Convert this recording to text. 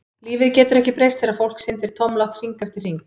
Lífið getur ekki breyst þegar fólk syndir tómlátt hring eftir hring.